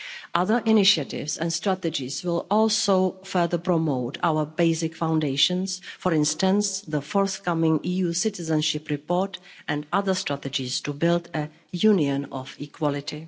Other initiatives and strategies will also further promote our basic foundations, for instance the forthcoming EU citizenship report and other strategies to build a Union of equality.